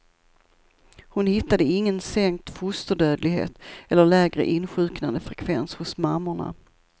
Hon hittade ingen sänkt fosterdödlighet eller lägre insjuknandefrekvens hos mammorna.